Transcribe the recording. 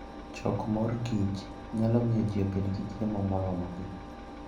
Choko mor kich nyalo miyo ji obed gi chiemo moromogi.